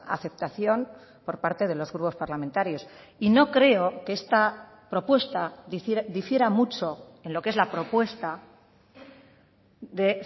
aceptación por parte de los grupos parlamentarios y no creo que esta propuesta difiera mucho en lo que es la propuesta de